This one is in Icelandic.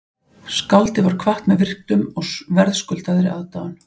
Skáldið var kvatt með virktum og verðskuldaðri aðdáun